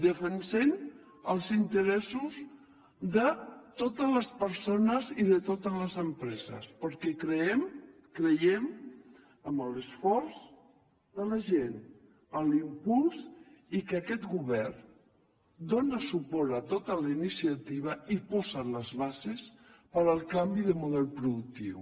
defensem els interessos de totes les persones i de totes les empreses perquè creiem amb l’esforç de la gent amb l’impuls i que aquest govern dóna suport a totes les iniciatives i posa les bases per al canvi de model productiu